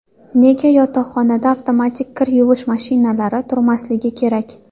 Nega yotoqxonada avtomat kir yuvish mashinalari turmasligi kerak?